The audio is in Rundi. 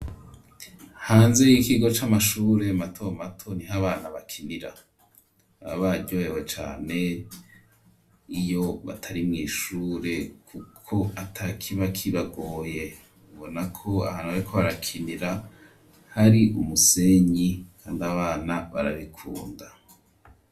Hanze y'ikigo c'amashure mato mato, niho abana bakinira, baba baryohewe cane, iyo batari mw'ishure kuko ata kiba kibagoye; ubona ko ahantu bariko barakinira hari umusenyi, kandi abana barabikunda.